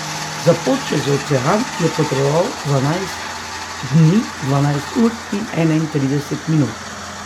Za pot čez ocean je potreboval dvanajst dni, dvanajst ur in enaintrideset minut.